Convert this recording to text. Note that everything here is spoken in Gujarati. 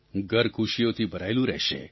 ઘર ખુશીઓથી ભરાયેલું રહેશે